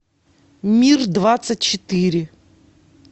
мир двадцать четыре